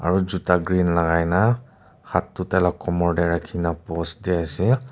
aru juta green lagai na hath tu tai lah komor teh rakhi na posh di ase.